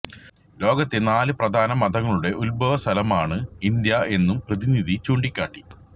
ലോകത്തെ നാല് പ്രധാന മതങ്ങളുടെ ഉത്ഭവസ്ഥലമാണ് ഇന്ത്യ എന്നും പ്രതിനിധി ചൂണ്ടിക്കാട്ടി